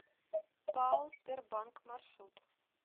пао сбербанк маршрут